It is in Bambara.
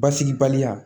Basigibali